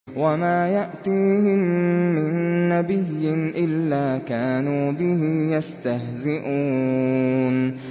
وَمَا يَأْتِيهِم مِّن نَّبِيٍّ إِلَّا كَانُوا بِهِ يَسْتَهْزِئُونَ